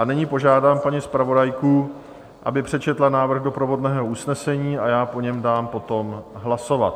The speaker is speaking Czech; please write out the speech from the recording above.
A nyní požádám paní zpravodajku, aby přečetla návrh doprovodného usnesení, a já o něm dám potom hlasovat.